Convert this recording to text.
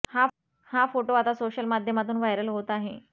हा फोटो आता सोशल माध्यमातून व्हायरल होत आहे